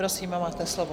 Prosím, máte slovo.